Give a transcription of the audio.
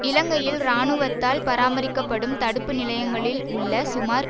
இலங்கையில் இராணுவத்தால் பராமரிக்கப்படும் தடுப்பு நிலையங்களில் உள்ள சுமார்